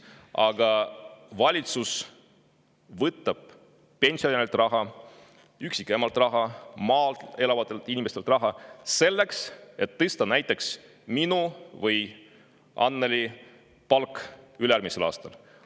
Aga valitsus võtab raha pensionäridelt, emadelt, maal elavatelt inimestelt, selleks et tõsta näiteks minu või Annely palka ülejärgmisel aastal.